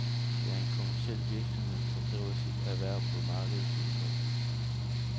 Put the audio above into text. Det er en kommerciel virksomhed, der driver sit erhverv på markedets vilkår.